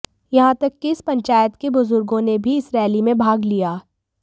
यहां तक कि इस पंचायत के बुजुर्गों ने भी इस रैली में भाग लिया